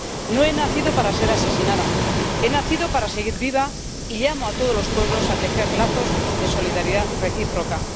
No he nacido para ser asesinada, he nacido para seguir viva y llamo a todos los pueblos a tejer lazos de solidaridad recíproca.